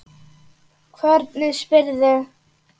Hvernig spyrðu.